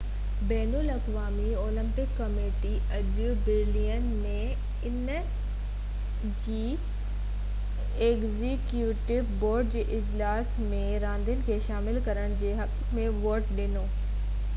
بين الاقوامي Olympic committee اڄ Berlin ۾ ان جي ايگزيڪيوٽو بورڊ جي اجلاس ۾ راندين کي شامل ڪرڻ جي حق ۾ ووٽ ڏنو رگبي خاص طور تي رگبي يونين ۽ گولف کي اولمپڪ ۾ حصو وٺڻ لاءِ پنجن ٻين راندين مٿان چونڊڻ جو غور ڪيو ويو هو